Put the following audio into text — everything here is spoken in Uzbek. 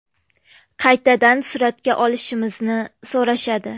Qaytadan suratga olishimizni so‘rashadi.